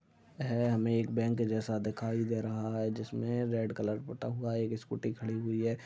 है हमें एक बैंक जैसा दिखाई दे रहा है जिसमे रेड कलर पुटा हुआ। एक स्कूटी खड़ी हुई है।